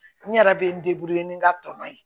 N yɛrɛ bɛ n ni n ka tɔnɔ ye